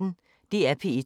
DR P1